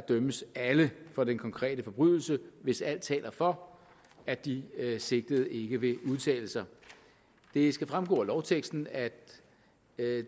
dømmes alle for den konkrete forbrydelse hvis alt taler for at de sigtede ikke vil udtale sig det skal fremgå af lovteksten at